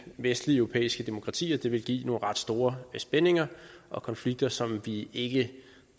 vestlige europæiske demokratier vil give nogle ret store spændinger og konflikter som vi ikke